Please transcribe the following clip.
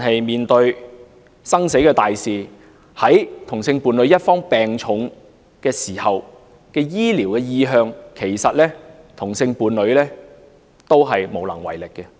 面對生死大事，例如同性伴侶一方病重時的醫療意向，其實同性伴侶另一方都是無能為力。